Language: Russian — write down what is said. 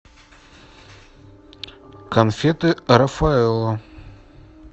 конфеты рафаэлло